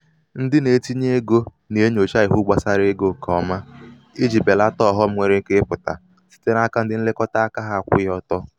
ndị na-etinye egō nà-enyòcha iwu gbàsara egō ṅkè ọma ijī bèlata ọ̀ghọm nwere ike ịpụ̀tà site n’aka ndị nlekọta aka ha akwụghị ọtọ.